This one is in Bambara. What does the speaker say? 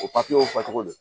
O w fɔcogo do